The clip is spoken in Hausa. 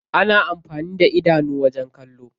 Ana amfani da idanu wajen kallo.